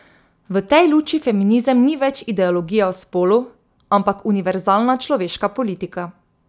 V tej luči feminizem ni več ideologija o spolu, ampak univerzalna človeška politika.